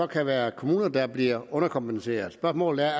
kan være kommuner der bliver underkompenseret og spørgsmålet er